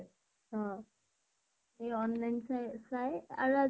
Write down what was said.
অ । সেই online তো ৱে চা চাই আৰু